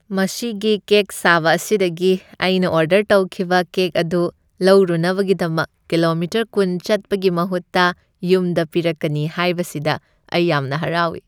ꯃꯁꯤꯒꯤ ꯀꯦꯛ ꯁꯥꯕ ꯑꯁꯤꯗꯒꯤ ꯑꯩꯅ ꯑꯣꯔꯗꯔ ꯇꯧꯈꯤꯕ ꯀꯦꯛ ꯑꯗꯨ ꯂꯧꯔꯨꯅꯕꯒꯤꯗꯃꯛ ꯀꯤꯂꯣꯃꯤꯇꯔ ꯀꯨꯟ ꯆꯠꯄꯒꯤ ꯃꯍꯨꯠꯇ ꯌꯨꯝꯗ ꯄꯤꯔꯛꯀꯅꯤ ꯍꯥꯏꯕꯁꯤꯗ ꯑꯩ ꯌꯥꯝꯅ ꯍꯔꯥꯎꯏ꯫